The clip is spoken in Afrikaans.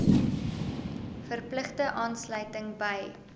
verpligte aansluiting by